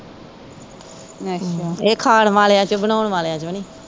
ਇਹ ਖਾਣ ਵਾਲਿਓ ਚੋ ਬਣਾਉਣ ਵਾਲਿਓ ਚ ਨਹੀਂ